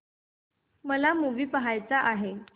मला मूवी पहायचा आहे